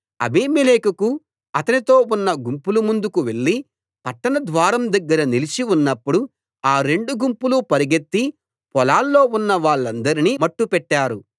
అబీమెలెకు అతనితో ఉన్న గుంపులు ముందుకు వెళ్ళి పట్టణ ద్వారం దగ్గర నిలిచి ఉన్నప్పుడు ఆ రెండు గుంపులు పరుగెత్తి పొలాల్లో ఉన్న వాళ్ళందరినీ మట్టుపెట్టారు